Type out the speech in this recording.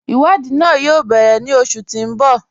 Iwadii náà yóò bẹ̀rẹ̀ ní oṣù tí n bọ́.